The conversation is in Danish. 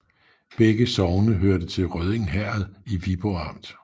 Begge sogne hørte til Rødding Herred i Viborg Amt